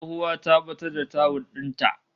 Tsohuwa ta batar da tawul din ta